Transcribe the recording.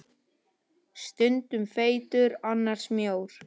Stundum feitur, annars mjór.